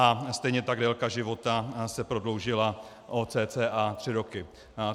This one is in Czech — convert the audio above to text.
A stejně tak délka života se prodloužila o cca tři roky.